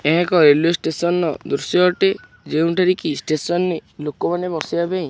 ଏହା ଏକ railway station ଦୃଶ୍ୟ ଅଟେ ଯେଉଁଠାରେ କି ଷ୍ଟେସନ ରେ ଲୋକ ମାନେ ବସିବା ପାଇଁ।